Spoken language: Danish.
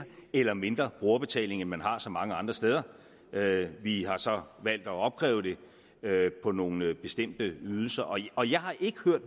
eller mindre brugerbetaling end man har så mange andre steder vi har så valgt at opkræve det på nogle bestemte ydelser og og jeg har ikke hørt